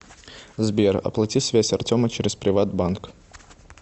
сбер оплати связь артема через приват банк